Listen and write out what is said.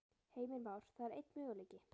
Heimir Már: Það er einn möguleiki?